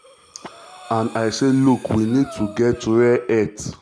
and i say 'look we need to get rare earth.'